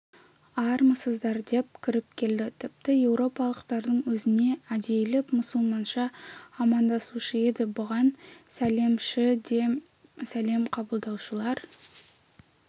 армысыздар деп кіріп келді тіпті еуропалықтардың өзіне әдейілеп мұсылманша амандасушы еді бұған сәлемші де сәлем қабылдаушылар